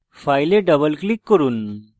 file double click করুন